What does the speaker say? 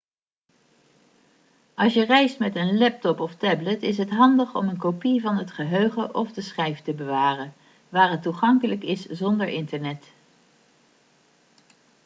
als je reist met een laptop of tablet is het handig om een kopie van het geheugen of de schijf te bewaren waar het toegankelijk is zonder internet